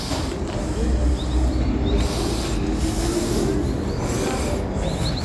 báwo ni mo ṣe lè borí ìrora tó ń ṣe mí ní ẹyìn ìbàdí àti apá